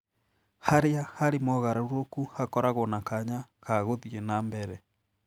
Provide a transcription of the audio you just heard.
Harĩa harĩ mogarũrũku hakoragwo na kanya ka gũthiĩ nambere.